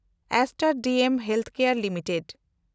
stand DM healthcare limited